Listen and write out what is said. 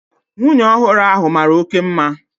Nwunye ọhụrụ ahu mara oké mma